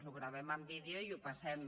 ho enregistrem en vídeo i ho passem